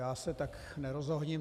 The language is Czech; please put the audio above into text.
Já se tak nerozohním.